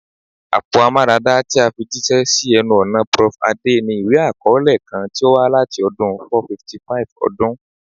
Apo aramada ti a fi jiṣẹ si ẹnu-ọna Prof Ade ni iwe-akọọlẹ kan ti o wa lati ọdun 455 ọdun.